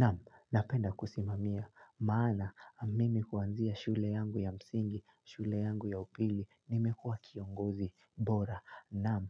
Naam, napenda kusimamia. Maana, mimi kwanzia shule yangu ya msingi, shule yangu ya upili, nimekuwa kiongozi bora. Naam,